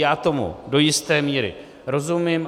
Já tomu do jisté míry rozumím.